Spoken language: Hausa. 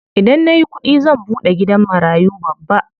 Idan nayi kuɗi zan buɗe gidan marayu babba.